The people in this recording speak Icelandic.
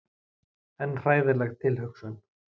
En hræðileg tilhugsun.